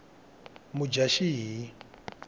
mudyaxihi